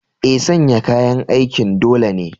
Eh, sanya kayan aikin dole ne.